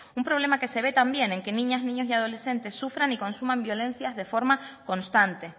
un problema que se también en que niñas niños y adolescentes sufran y consuman violencias de forma constante